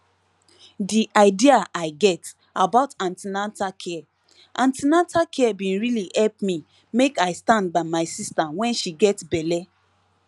the idea i get about an ten atal care an ten atal care bin really help me make i stand by my sister when she get belle